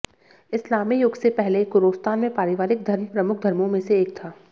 इस्लामी युग से पहले कुरोस्तान में पारिवारिक धर्म प्रमुख धर्मों में से एक था